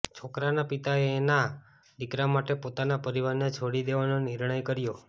છોકરાના પિતાએ એના દિકરા માટે પોતાના પરિવારને છોડી દેવાનો નિર્ણય કર્યો